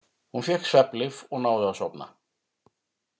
Hún fékk svefnlyf og náði að sofna.